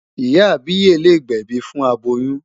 Ìyá àbíyè lè gbẹ̀bi fún aboyún.